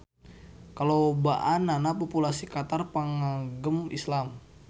Kalobaannana populasi Qatar pangagem Islam.